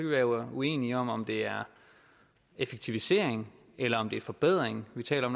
være uenige om om det er effektivisering eller om det er forbedring vi taler